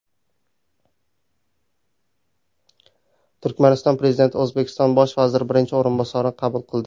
Turkmaniston Prezidenti O‘zbekiston Bosh vaziri birinchi o‘rinbosarini qabul qildi.